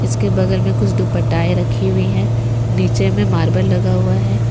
इसके बगल में कुछ दुपट्टाआए रखी हुई हैं नीचे में मार्बल लगा हुआ है।